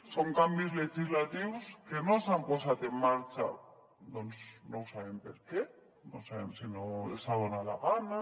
són canvis legislatius que no s’han posat en marxa doncs no sabem per què no sabem si no els ha donat la gana